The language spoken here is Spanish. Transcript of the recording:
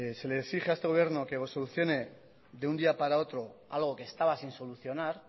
se le exige a este gobierno que o solucione de un día para otro algo que estaba sin solucionar